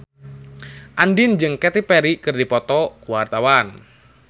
Andien jeung Katy Perry keur dipoto ku wartawan